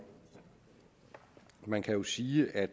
man kan jo sige at